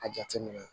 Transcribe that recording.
A jateminɛ